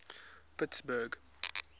pittsburgh